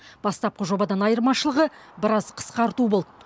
бастапқы жобадан айырмашылығы біраз қысқарту болды